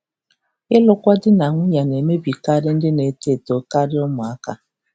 Ịlụkwa di na nwunye na-emebikarị ndị na-eto eto karịa ụmụaka.